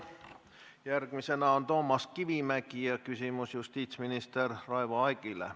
Järgmisena küsib Toomas Kivimägi ja küsimus on justiitsminister Raivo Aegile.